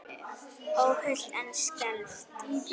Óhult en skelfd.